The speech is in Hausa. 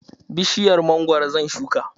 Bishiyar mangwaro zan shuka.